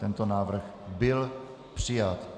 Tento návrh byl přijat.